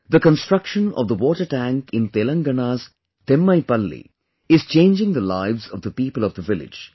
The construction of the watertank in Telangana'sThimmaipalli is changing the lives of the people of the village